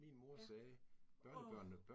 Ja. Åh!